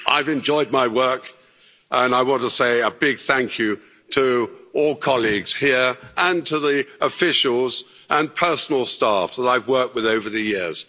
I've enjoyed my work, and I want to say a big thank you to all colleagues here and to the officials and personal staff that I've worked with over the years.